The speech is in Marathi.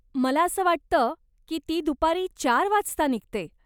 मला असं वाटतं की ती दुपारी चार वाजता निघते.